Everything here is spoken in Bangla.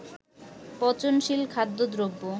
পচনশীল খাদ্যদ্রব্য